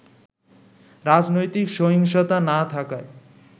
রাজনৈতিক সহিংসতা না থাকায়